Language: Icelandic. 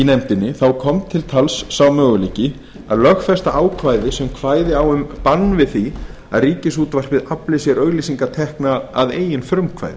nefndinni kom til tals sá möguleiki að lögfesta ákvæði sem kvæði á um bann við því að ríkisútvarpið afli sér auglýsingatekna að eigin frumkvæði